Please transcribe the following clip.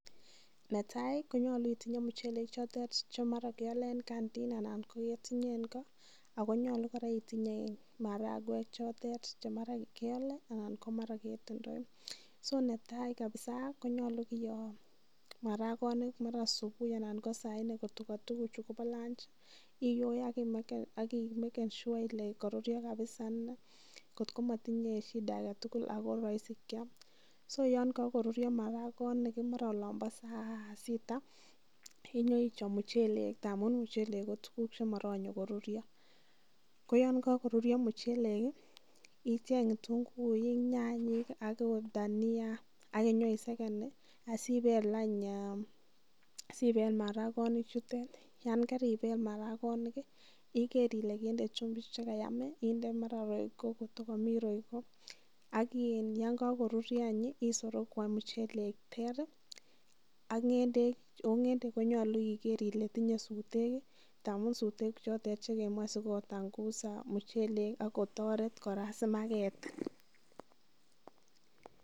Netai konyolu itinye muchelek chotet che mara kiole en kandin ana ko ketinye en ko ago nyolu kora itinye marakwek chotet che mara keole anan mara ketindoi. So netai kabisa konyolu kiyoo marakonik mara subuui ana ko saa nne kotko ko tuguchu kobo lanji iyoe ak imeken sure ile koruruyo kapisa kotko motinye shida age tugul ago imuche kyam. So yon kagoruryo maragonik mara olon bo saa sita inyoi chob muchelek tamun muchhelek kotuguk chemoronye koruryo kooyn kogoruryo muchelek icheng ketunguuik, nyanyik, agot dania, ak inyoiseken asibel any marakonik chutet yan karibel marakonik iger ile kende chumbik che kayam. Inde mara kotko komi royco ak iin yon kogoruryo any isorogu any muchelek ter ak ng'endek oo ng'endek konyolu iger kole tinye sutek ngamun sutek chotet che kemoche asikotangus muchelek ak kotoret kora simagetin.